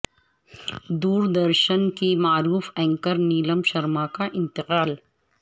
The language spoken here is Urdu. دور درشن کی معروف اینکر نیلم شرما کا انتقال